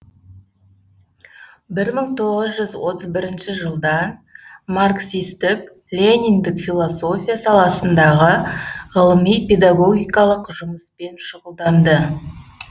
бір мың тоғыз жүз отыз бірінші жылдан маркстік лениндік философия саласындағы ғылыми педагогикалық жұмыспен шұғылданды